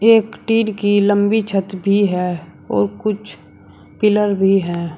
एक टिन की लंबी छत भी है और कुछ पिलर भी हैं।